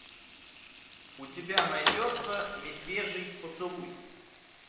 у тебя найдется медвежий поцелуй